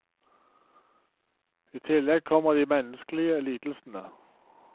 I tillegg kommer de menneskelige lidelsene.